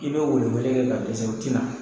I bɛ welewele kɛ ka dɛsɛ u ti na.